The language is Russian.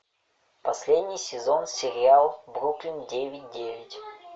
последний сезон сериал бруклин девять девять